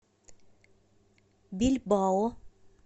бильбао